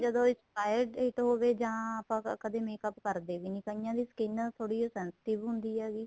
ਜਦੋਂ expire date ਹੋਵੇ ਜਾਂ ਆਪਾਂ ਕਦੀਂ makeup ਕਰਦੇ ਵੀ ਨਹੀਂ ਕਈਆਂ ਦੀ skin ਥੋੜੀ ਜੀ sensitive ਹੁੰਦੀ ਹੈਗੀ